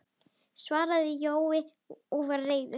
svaraði Jói og var reiður.